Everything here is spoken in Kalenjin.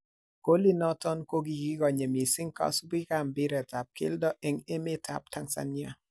Golit noton ko kigigonye mising kosubikab mpiretab keldo en emeteab Tanzania.